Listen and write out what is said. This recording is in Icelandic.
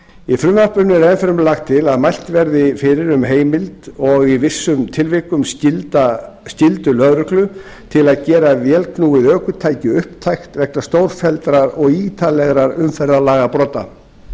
í frumvarpinu er enn fremur lagt til að mælt verði fyrir um heimild og í vissum tilvikum skyldu lögreglu til að gera vélknúið ökutæki upptækt vegna stórfelldra og ítrekaðra umferðarlagabrota